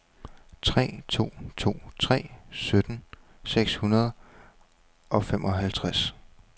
tre to to tre sytten seks hundrede og femoghalvtreds